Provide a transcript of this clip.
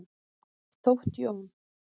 Þótt Jón.